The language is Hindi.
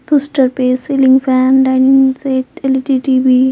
पोस्टर पे ceiling fan dining set LED TV --